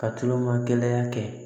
Ka tulonŋɛ kɛ